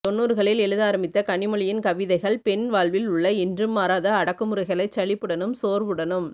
தொண்ணூறுகளில் எழுத ஆரம்பித்த கனிமொழியின் கவிதைகள் பெண் வாழ்வில் உள்ள என்றும் மாறாத அடக்குமுறைகளைச் சலிப்புடனும் சோர்வுடனும்